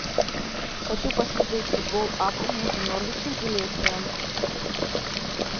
хочу посмотреть футбол апл между норвичем и лестером